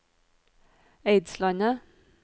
Eidslandet